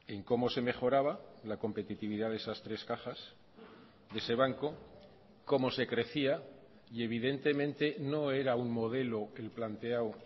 en cómo se mejoraba la competitividad de esas tres cajas de ese banco cómo se crecía y evidentemente no era un modelo el planteado